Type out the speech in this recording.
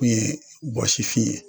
O ye bɔsifin ye